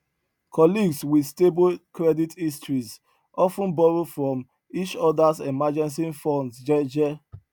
colleagues wit stable credit histories of ten borrow from each odas emergency funds jeje